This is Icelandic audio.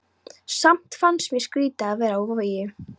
Samt fannst mér skrýtið að vera á Vogi.